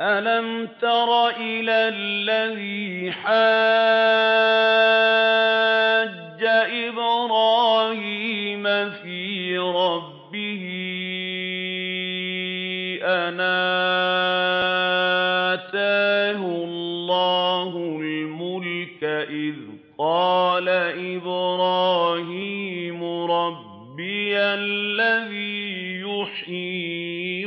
أَلَمْ تَرَ إِلَى الَّذِي حَاجَّ إِبْرَاهِيمَ فِي رَبِّهِ أَنْ آتَاهُ اللَّهُ الْمُلْكَ إِذْ قَالَ إِبْرَاهِيمُ رَبِّيَ الَّذِي يُحْيِي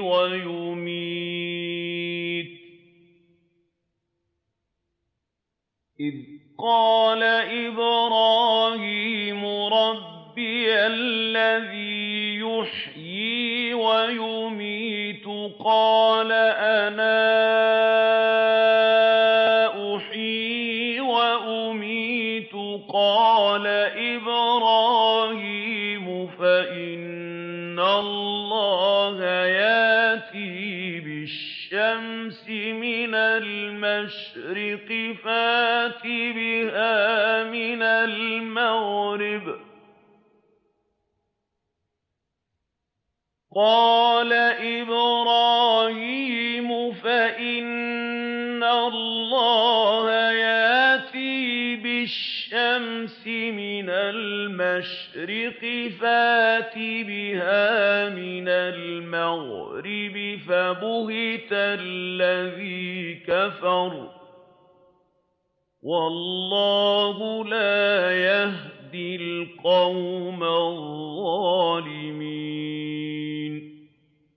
وَيُمِيتُ قَالَ أَنَا أُحْيِي وَأُمِيتُ ۖ قَالَ إِبْرَاهِيمُ فَإِنَّ اللَّهَ يَأْتِي بِالشَّمْسِ مِنَ الْمَشْرِقِ فَأْتِ بِهَا مِنَ الْمَغْرِبِ فَبُهِتَ الَّذِي كَفَرَ ۗ وَاللَّهُ لَا يَهْدِي الْقَوْمَ الظَّالِمِينَ